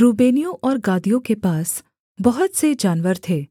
रूबेनियों और गादियों के पास बहुत से जानवर थे